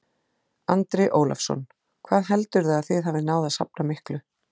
Andri Ólafsson: Hvað heldurðu að þið hafið náð að safna miklu?